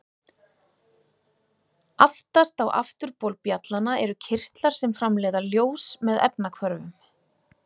Aftast á afturbol bjallanna eru kirtlar sem framleiða ljós með efnahvörfum.